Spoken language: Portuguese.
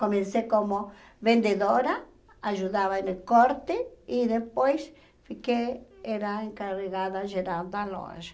Comecei como vendedora, ajudava no corte e depois fiquei, era encarregada geral da loja.